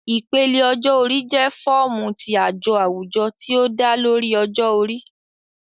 Ipele ọjọ-ori jẹ fọọmu ti ajo awujọ ti o da lori ọjọ-ori